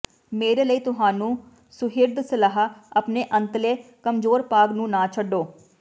ਮੇਰੇ ਲਈ ਤੁਹਾਨੂੰ ਸੁਹਿਰਦ ਸਲਾਹ ਆਪਣੇ ਅੰਤਲੇ ਕਮਜ਼ੋਰ ਭਾਗ ਨੂੰ ਨਾ ਛੱਡੋ